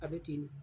A bɛ ten de